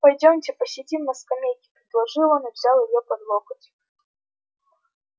пойдёмте посидим на скамейке предложил он и взял её под локоть